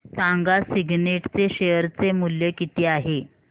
सांगा सिग्नेट चे शेअर चे मूल्य किती आहे